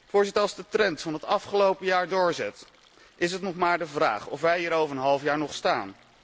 Voorzitter, als de trend van het afgelopen jaar doorzet, is het nog maar de vraag of wij hier over een half jaar nog staan.